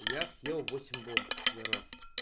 я съел восемь бомб за раз